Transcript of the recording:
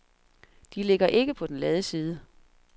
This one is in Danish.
De ligger ikke på den lade side.